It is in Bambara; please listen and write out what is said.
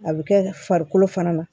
A bɛ kɛ farikolo fana na